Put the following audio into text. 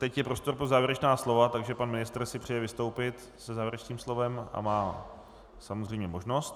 Teď je prostor pro závěrečná slova, takže pan ministr si přeje vystoupit se závěrečným slovem a má samozřejmě možnost.